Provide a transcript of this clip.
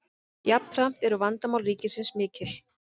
jafnframt eru vandamál ríkisins mikil